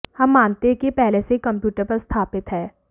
हम मानते हैं कि यह पहले से ही कंप्यूटर पर स्थापित है